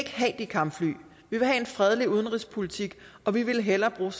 have de kampfly vi vil have en fredelig udenrigspolitik og vi ville hellere bruge